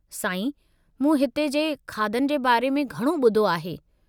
साईं, मूं हिते जे खाधनि जे बारे में घणो ॿुधो आहे।